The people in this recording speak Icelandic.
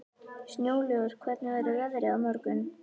Snjólaugur, hvernig verður veðrið á morgun?